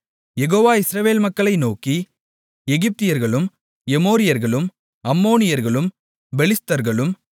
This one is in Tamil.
யெகோவா இஸ்ரவேல் மக்களை நோக்கி எகிப்தியர்களும் எமோரியர்களும் அம்மோனியர்களும் பெலிஸ்தர்களும்